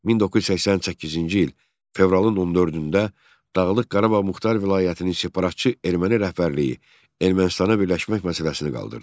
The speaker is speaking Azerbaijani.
1988-ci il fevralın 14-də Dağlıq Qarabağ Muxtar Vilayətinin separatçı erməni rəhbərliyi Ermənistana birləşmək məsələsini qaldırdı.